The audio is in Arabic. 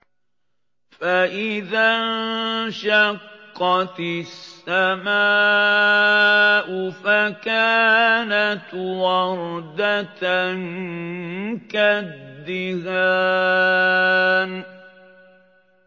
فَإِذَا انشَقَّتِ السَّمَاءُ فَكَانَتْ وَرْدَةً كَالدِّهَانِ